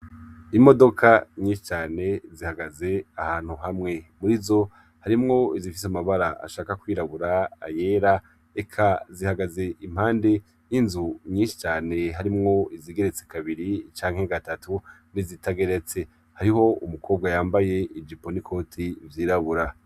Imodoka nyinshicane zihagaze ahantu hamwe muri zo harimwo izifise amabara ashaka kwirabura ayera eka zihagaze impande y'inzu nyinshicane harimwo izigeretse kabiri icanke gatatu nizitageretse hariho umukobwa yambaye ija iponikoti vyirabura.